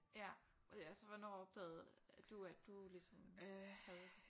Ja øh altså hvornår opdagede du at du ligesom havde det?